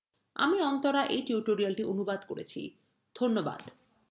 আমি অন্তরা এই টিউটোরিয়ালটি অনুবাদ করেছি ধন্যবাদ